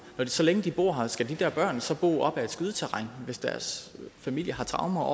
men så længe de bor her skal de der børn så bo op ad et skydeterræn hvis deres familie har traumer